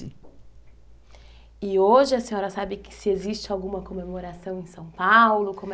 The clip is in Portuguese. E hoje a senhora sabe se existe alguma comemoração em São Paulo?